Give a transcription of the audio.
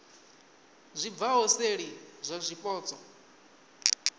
zwi bvaho seli zwa zwipotso